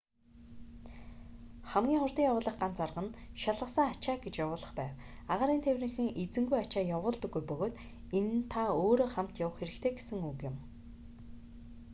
хамгийн хурдан явуулах ганц арга нь шалгасан ачаа гэж явуулах байв агаарын тээврийнхэн эзэнгүй ачаа явуулдаггүй бөгөөд энэ нь та өөрөө хамт явах хэрэгтэй гэсэн үг юм